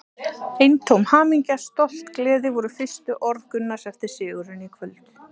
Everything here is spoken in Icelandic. Eintóm hamingja, stolt, gleði voru fyrstu orð Gunnars eftir sigurinn í kvöld.